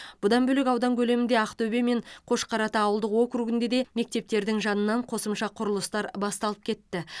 бұдан бөлек аудан көлемінде ақтөбе мен қошқарата ауылдық округінде де мектептердің жанынан қосымша құрылыстар басталып кетті